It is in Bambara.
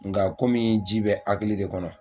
Nga kɔmi ji bɛ hakili de kɔnɔ.